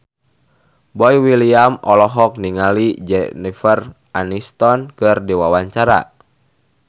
Boy William olohok ningali Jennifer Aniston keur diwawancara